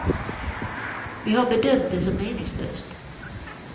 Vi har bedömt det som meningslöst.